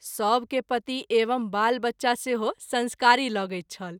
सभ के पति एवं बाल बच्चा सेहो संस्कारी लगैत छल।